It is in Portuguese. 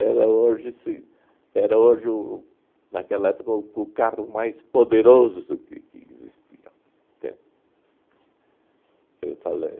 Era hoje se, era hoje o o naquela época, o o carro mais poderoso que que existia, entende? Eu falei